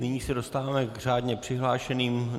Nyní se dostáváme k řádně přihlášeným.